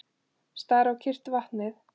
Stari á kyrrt vatnið.